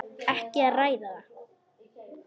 Ekki að ræða það.